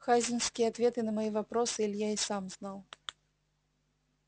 хазинские ответы на свои вопросы илья и сам знал